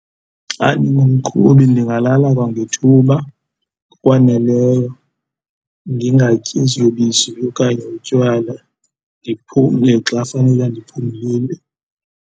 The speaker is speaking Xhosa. Xa ndingumqhubi ndingalala kwangethuba ngokwaneleyo, ndingatyi ziyobisi okanye utywala, ndiphumle xa fanela ndiphumlile.